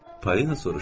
Polina soruşdu.